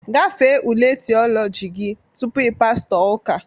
Gafee ule Theology gị tupu ị pastọ ụka!